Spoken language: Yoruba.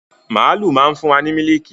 Màálu má ń fún wa ní mílíìkì.